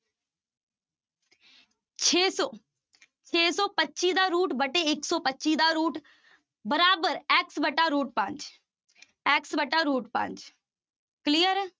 ਛੇ ਸੌ, ਛੇ ਸੌ ਪੱਚੀ ਦਾ root ਵਟੇ ਇੱਕ ਸੌ ਪੱਚੀ ਦਾ root ਬਰਾਬਰ x ਵਟਾ root ਪੰਜ x ਵਟਾ root ਪੰਜ clear ਹੈ